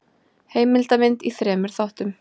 Heimildamynd í þremur þáttum.